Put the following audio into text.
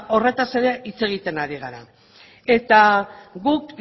horretaz ere hitz egiten ari gara eta guk